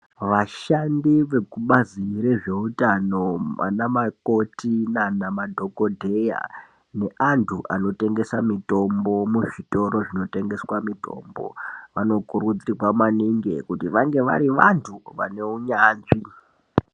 Vashandi vekubazi rezveutano ana mukoti naana dhokodheya, neantu anotengesa mitombo muzvitoro zvinotengeswa mitombo, vanokurudzirwa maningi kuti vange vari vantu vane unyanzvi.